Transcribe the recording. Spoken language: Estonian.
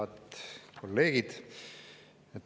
Head kolleegid!